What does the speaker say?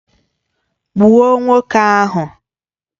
Gbuo nwoke ahu!